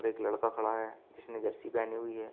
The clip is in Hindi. एक लड़का खड़ा है जिसने जर्सी पहनी हुई है।